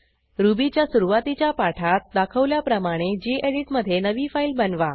रुबीच्या सुरूवातीच्या पाठात दाखवल्याप्रमाणे गेडीत मधे नवी फाईल बनवा